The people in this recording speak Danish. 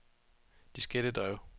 diskettedrev